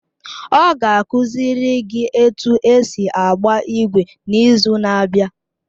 Ọ ga-akụziri gị otú esi agba ígwè n’izu na-abịa.